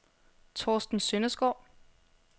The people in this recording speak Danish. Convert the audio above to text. Thorsten Sønderskov